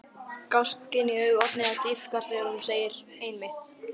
Gáskinn í augum Oddnýjar dýpkar þegar hún segir: Einmitt.